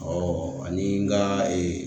ani n ka